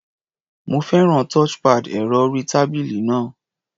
Mo fẹ́ràn touchpad ẹ̀rọ-orí-tábílì náà.